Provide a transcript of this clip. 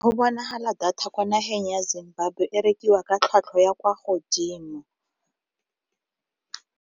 Go bonagala data kwa nageng ya Zimbabwe e rekiwa ka tlhwatlhwa ya kwa godimo.